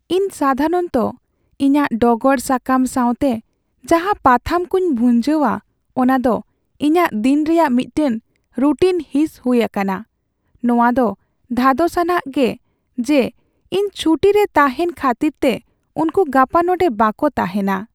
ᱤᱧ ᱥᱟᱫᱷᱟᱨᱚᱱᱛᱚ ᱤᱧᱟᱹᱜ ᱰᱚᱜᱚᱨ ᱥᱟᱠᱟᱢ ᱥᱟᱶᱛᱮ ᱡᱟᱦᱟᱸ ᱯᱟᱛᱷᱟᱢ ᱠᱚᱧ ᱵᱷᱩᱧᱡᱟᱹᱣᱟ ᱚᱱᱟᱫᱚ ᱤᱧᱟᱹᱜ ᱫᱤᱱ ᱨᱮᱭᱟᱜ ᱢᱤᱫᱴᱟᱝ ᱨᱩᱴᱤᱱ ᱦᱤᱸᱥ ᱦᱩᱭ ᱟᱠᱟᱱᱟ ᱾ ᱱᱚᱶᱟᱫᱚ ᱫᱷᱟᱫᱚᱥᱟᱱᱟᱜ ᱜᱮ ᱡᱮ ᱤᱧ ᱪᱷᱩᱴᱤ ᱨᱮ ᱛᱟᱦᱮᱱ ᱠᱷᱟᱹᱛᱤᱨᱛᱮ ᱩᱱᱠᱩ ᱜᱟᱯᱟ ᱱᱚᱸᱰᱮ ᱵᱟᱠᱚ ᱛᱟᱦᱮᱱᱟ ᱾